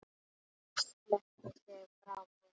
Hún sleit sig frá mér.